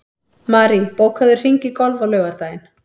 Marie, bókaðu hring í golf á laugardaginn.